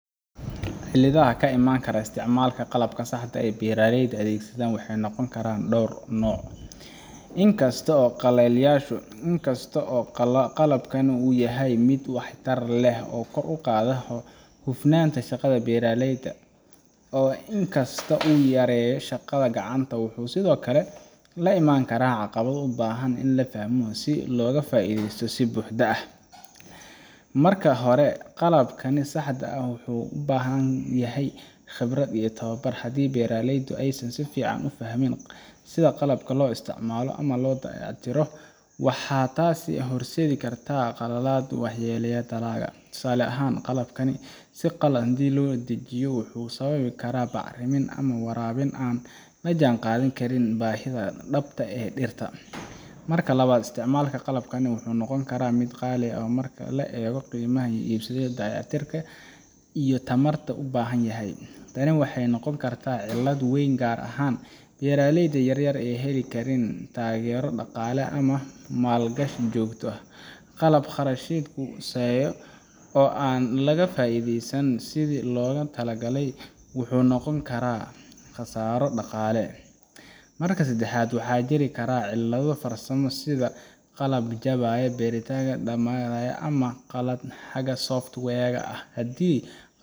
Cilladaha ka iman kara isticmaalka qalabka saxda ah ee beeraleyda ay adeegsadaan waxay noqon karaan dhowr nooc, inkastoo qalabkan uu yahay mid waxtar leh oo kor u qaada hufnaanta shaqada beeraleyda. In kastoo uu yareeyo shaqada gacanta, wuxuu sidoo kale la imaan karaa caqabado u baahan in la fahmo si looga faa'iideeyo si buuxda. Marka hore, qalabka saxda ah wuxuu u baahan yahay khibrad iyo tababar. Haddii beeraleydu aysan si fiican u fahmin sida qalabka loo isticmaalo ama loo dayactiro, waxay taasi horseedi kartaa khaladaad waxyeelleeya dalagga. Tusaale ahaan, qalab si qalad ah loo dejiyaa wuxuu sababi karaa bacrimin ama waraabin aan la jaanqaadi karin baahida dhabta ah ee dhirta. Marka labaad, isticmaalka qalabkan wuxuu noqon karaa mid qaali ah marka la eego qiimaha lagu iibsado, dayactirka iyo tamarta uu u baahan yahay. Tani waxay noqon kartaa cillad weyn gaar ahaan beeraleyda yaryar ee aan heli karin taageero dhaqaale ama maalgashi joogto ah. Qalab kharashkiisu sarreeyo oo aan laga faa’iidin sidii loogu talagalay wuxuu noqon karaa khasaaro dhaqaale. Marka saddexaad, waxaa jiri kara cillado farsamo sida qalab jabaya, bateriga dhamaanaya, ama qalad xagga software-ka ah. Haddii